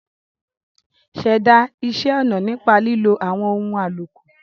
Ṣẹ̀dá iṣẹ́ ọna nípa lílo àwọn ohun àlòkù.